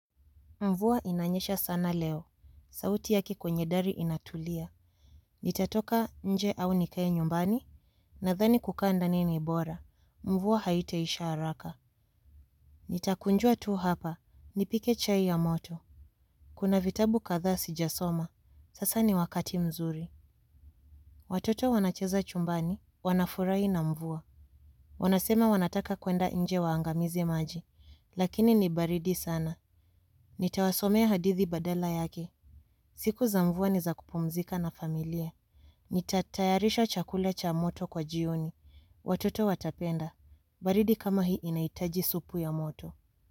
Mvua inanyesha sana leo, sauti yake kwenye dari inatulia. Nitatoka nje au nikae nyumbani, nadhani kukaa ndani ni bora, mvua haitaisha haraka. Nitakunjua tu hapa, nipike chai ya moto. Kuna vitabu kathaa sijasoma, sasa ni wakati mzuri. Watoto wanacheza chumbani, wanafurahi na mvua. Wanasema wanataka kuenda nje waangamize maji, lakini ni baridi sana. Nitawasomea hadithi badala yake. Siku za mvua ni za kupumzika na familia. Nitatayarisha chakula cha moto kwa jioni. Watoto watapenda. Baridi kama hii inahitaji supu ya moto.